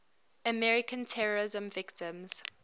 american terrorism victims